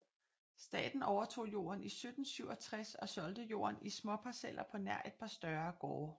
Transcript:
Staten overtog jorden i 1767 og solgte jorden i småparceller på nær et par større gårde